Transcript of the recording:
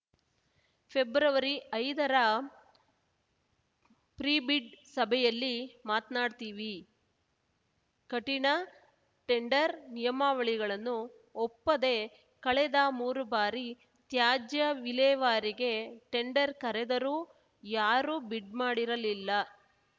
ಫೆಬ್ರವರಿಐದರ pre bid ಸಭೆಯಲ್ಲಿ ಮಾತನಾಡ್ತಿವಿ ಕಠಿಣ ಟೆಂಡರ್‌ ನಿಯಮಾವಳಿಗಳನ್ನು ಒಪ್ಪದೆ ಕಳೆದ ಮೂರು ಬಾರಿ ತ್ಯಾಜ್ಯ ವಿಲೇವಾರಿಗೆ ಟೆಂಡರ್‌ ಕರೆದರೂ ಯಾರೂ ಬಿಡ್‌ ಮಾಡಿರಲಿಲ್ಲ